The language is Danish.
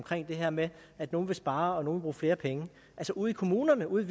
det her med at nogle vil spare og nogle bruge flere penge altså ude i kommunerne ude i